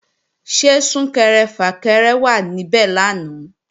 Ṣé Sún-kẹrẹ-fà-kẹrẹ wà níbẹ̀ lánàá?